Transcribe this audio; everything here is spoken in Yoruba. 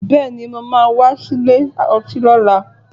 Bẹ́ẹ̀ni, mo máa wá sílè ọtí lọ́la